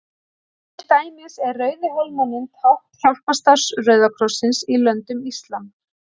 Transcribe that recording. Til dæmis er Rauði hálfmáninn tákn hjálparstarfs Rauða krossins í löndum íslam.